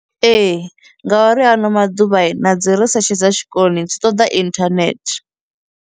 Ee, ngauri hano maḓuvha na dzi research dza tshikolo dzi ṱoḓa internet.